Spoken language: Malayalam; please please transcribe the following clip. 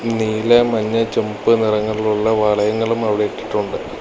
നീല മഞ്ഞ ചുമപ്പ് നിറങ്ങളിലുള്ള വളയങ്ങളും അവിടെ ഇട്ടിട്ടുണ്ട്.